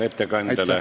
Aitäh!